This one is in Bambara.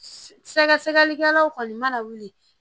Sɛgɛsɛgɛlikɛlaw kɔni mana wuli